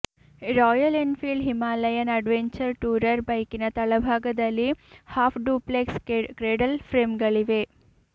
royal Enfield Himalayan adventure tourer ಬೈಕಿನ ತಳಭಾಗದಲ್ಲಿ half duplex cradle ಫ್ರೇಂಗಳಿವೆ